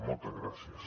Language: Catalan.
moltes gràcies